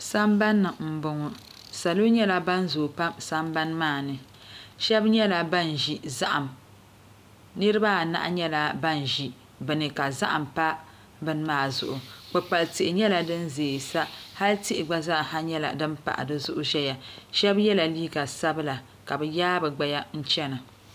Sambanni n boŋo salo nyɛla ban zoo pam sambani maa ni shab nyɛla ban ʒi zaham nirabaanahi nyɛla ban ʒi bini ka zaham pa bini maa zuɣu kpukpali tihi nyɛla din ʒɛya sa ka hal tihi gba zaa nyɛla din pahi di zuɣu ʒɛya shab yɛla liiga sabila ka bi yaai bi gbaya chana